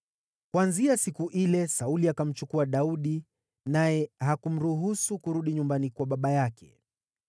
Kuanzia siku ile Sauli akamchukua Daudi naye hakumruhusu kurudi nyumbani kwa baba yake.